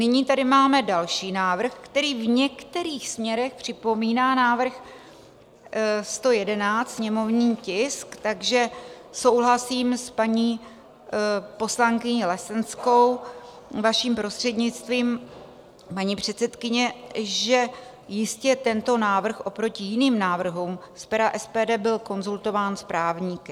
Nyní tady máme další návrh, který v některých směrech připomíná návrh 111 - sněmovní tisk, takže souhlasím s paní poslankyní Lesenskou, vaším prostřednictvím, paní předsedkyně, že jistě tento návrh oproti jiným návrhům z pera SPD byl konzultován s právníky.